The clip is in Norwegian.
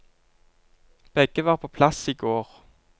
Begge var på plass i går.